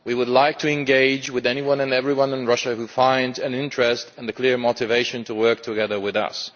we would like to engage with anyone and everyone in Russia who finds an interest and a clear motivation in working together with us.